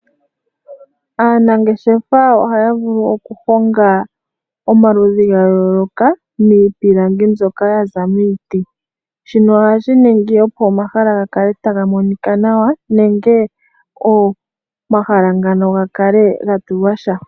Aanangeshefa ohaya vulu okuhonga omaludhi ga yooloka miipilangi mbyoka ya za miiti shino ohashi ningi opo omahala ga kale taga monika nawa nenge omahala ngano ga kale ga tulwasha.